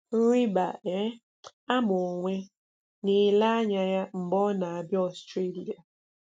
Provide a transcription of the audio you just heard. Rị̀bà um àmà onwe: Na-ele ànyà ya mgbe ọ na-abìà Australia.